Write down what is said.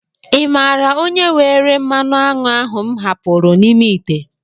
Ị mààra onye were mmanụ aṅụ ahụ m hapụrụ n'ime ite?